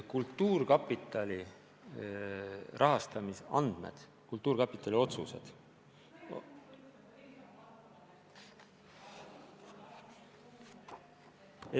Kultuurkapitali rahastamise andmed, kultuurkapitali otsused ...